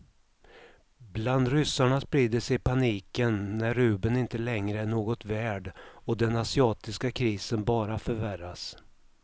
Bland ryssarna sprider sig paniken när rubeln inte längre är något värd och den asiatiska krisen bara förvärras.